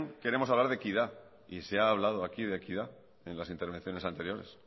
queremos hablar de equidad y se ha hablado aquí de equidad en las intervenciones anteriores